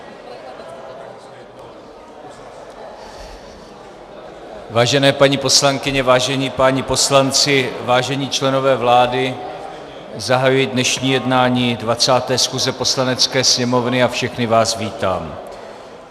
Vážené paní poslankyně, vážení páni poslanci, vážení členové vlády, zahajuji dnešní jednání 20. schůze Poslanecké sněmovny a všechny vás vítám.